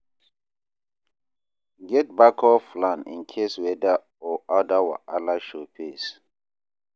Get backup plan in case weather or other wahala show face.